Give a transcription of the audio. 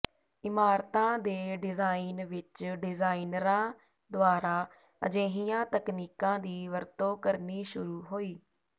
ਇਮਾਰਤਾਂ ਦੇ ਡਿਜ਼ਾਇਨ ਵਿੱਚ ਡਿਜ਼ਾਈਨਰਾਂ ਦੁਆਰਾ ਅਜਿਹੀਆਂ ਤਕਨੀਕਾਂ ਦੀ ਵਰਤੋਂ ਕਰਨੀ ਸ਼ੁਰੂ ਹੋਈ